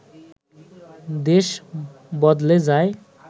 দেশ বদলে যায়